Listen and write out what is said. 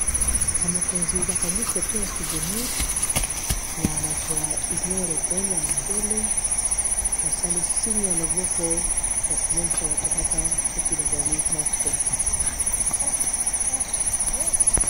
bamokonzi bakangi foto ya souvenir na bato ya union européenne ya mondele basali signe ya loboko ya komonisa bato kaka soki bazali moko